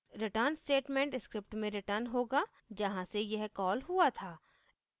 return statement script में return होगा जहाँ से यह कॉल हुआ था